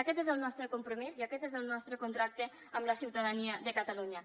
aquest és el nostre compromís i aquest és el nostre contracte amb la ciutadania de catalunya